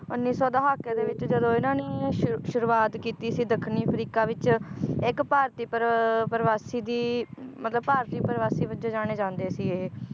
ਉੱਨੀ ਸੌ ਦਹਾਕੇ ਦੇ ਵਿਚ ਜਦੋਂ ਇਹਨਾਂ ਨੇ ਸ਼ੁਰ~ ਸ਼ੁਰੂਆਤ ਕੀਤੀ ਸੀ ਦੱਖਣੀ ਅਫ੍ਰਿਕਾ ਵਿਚ ਇੱਕ ਭਾਰਤੀ ਪਰ~ ਪਰਿਵਾਸੀ ਦੀ ਮਤਲਬ ਭਾਰਤੀ ਪਰਿਵਾਸੀ ਵੱਜੇ ਜਾਣੇ ਜਾਂਦੇ ਸੀ ਇਹ